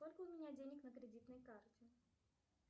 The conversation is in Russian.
сколько у меня денег на кредитной карте